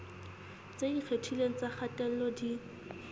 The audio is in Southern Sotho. tse ikgethileng tsa kgatello di